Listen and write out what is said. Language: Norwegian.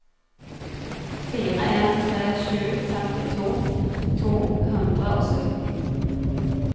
fire en tre sju femtito to hundre og sytten